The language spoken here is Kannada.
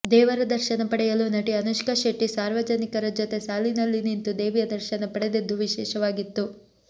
ದೇವರ ದರ್ಶನ ಪಡೆಯಲು ನಟಿ ಅನುಷ್ಕಾ ಶೆಟ್ಟಿ ಸಾರ್ವಜನಿಕರ ಜೊತೆ ಸಾಲಿನಲ್ಲಿ ನಿಂತು ದೇವಿಯ ದರ್ಶನ ಪಡೆದದ್ದು ವಿಶೇಷವಾಗಿತ್ತು